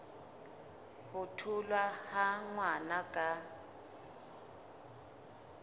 ho tholwa ha ngwana ka